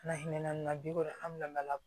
N'a hinɛ na bi ko an bɛna